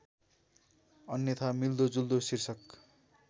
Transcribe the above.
अन्यथा मिल्दोजुल्दो शीर्षक